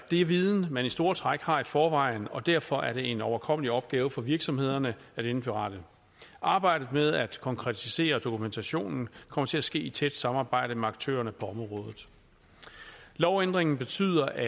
er viden man i store træk har i forvejen og derfor er det en overkommelig opgave for virksomhederne at indberette arbejdet med at konkretisere dokumentationen kommer til at ske i tæt samarbejde med aktørerne på området lovændringen betyder at